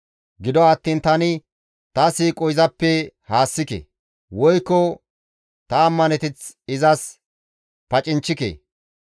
Gido attiin tani ta siiqo izappe haassike; woykko ta ammaneteth izas pacinchchike.